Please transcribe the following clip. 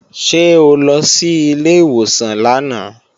Ṣé o lọ sí ilé ìwòsàn lánàá?